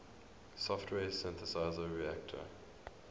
software synthesizer reaktor